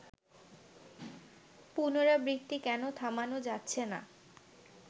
পুনরাবৃত্তি কেন থামানো যাচ্ছে না